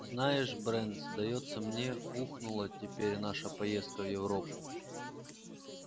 знаешь брент сдаётся мне ухнула теперь наша поездка в европу